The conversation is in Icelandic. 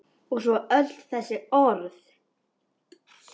Og svo öll þessi orð.